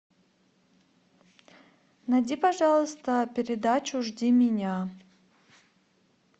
найди пожалуйста передачу жди меня